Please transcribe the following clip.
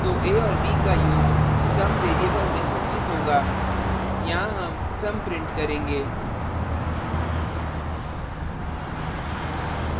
तो a और b का योग sum variable में संचित होगा यहाँ sum sum print करेंगे